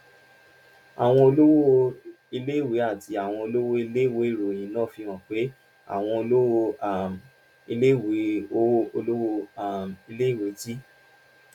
àwọn olówó iléèwé àti àwọn olówó iléèwé: ìròyìn náà fi hàn pé àwọn olówó um iléèwé olówó um iléèwé ti